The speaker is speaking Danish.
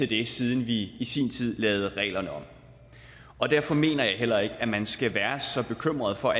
det siden vi i sin tid lavede reglerne om derfor mener jeg heller ikke at man altid skal være så bekymret for